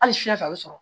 Hali fiɲɛ fɛ a bɛ sɔrɔ